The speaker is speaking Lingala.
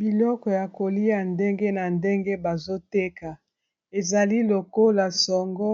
Biloko ya kolia ndenge na ndenge bazoteka ezali lokola songo,